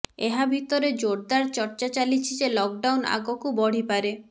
ଏହାଭିତରେ ଜୋରଦାର ଚର୍ଚ୍ଚା ଚାଲିଛି ଯେ ଲକ୍ ଡାଉନ୍ ଆଗକୁ ବଢିପାରେ